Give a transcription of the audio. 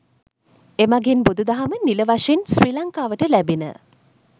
එමඟින් බුදුදහම නිල වශයෙන් ශ්‍රී ලංකාවට ලැබිණ.